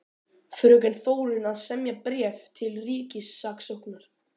Fröken Þórunn að semja bréf til ríkissaksóknara.